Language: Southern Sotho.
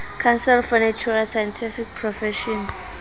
council for natural scientific professions